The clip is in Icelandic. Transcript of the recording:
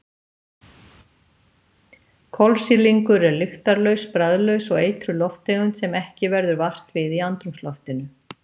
Kolsýrlingur er lyktarlaus, bragðlaus og eitruð lofttegund sem ekki verður vart við í andrúmsloftinu.